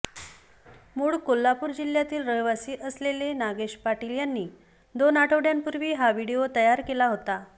मूळ कोल्हापूर जिल्ह्यातील रहिवासी असलेले नागेश पाटील यांनी दोन आठवड्यांपूर्वी हा व्हिडिओ तयार केला होता